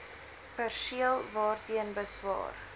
perseel waarteen beswaar